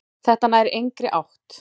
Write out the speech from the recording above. Þetta nær engri átt.